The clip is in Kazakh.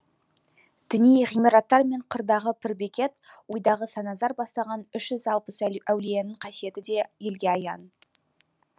діни ғимараттар мен қырдағы пір бекет ойдағы саназар бастаған үш жүз алпыс әулиенің қасиеті де елге аян